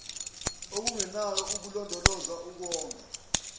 elinganayo ukulondoloza ukonga